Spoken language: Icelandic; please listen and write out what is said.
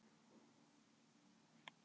Mannsins enn leitað á jöklinum